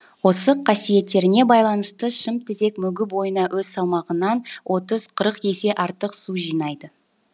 осы қасиеттеріне байланысты шымтезек мүгі бойына өз салмағынан отыз қырық есе артық су жинайды